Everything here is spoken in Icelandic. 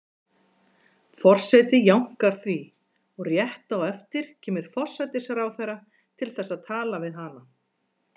Forseti jánkar því, og rétt á eftir kemur forsætisráðherra til þess að tala við hana.